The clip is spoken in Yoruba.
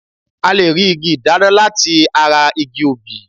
A lè rí igi ìdáná láti ara igi obì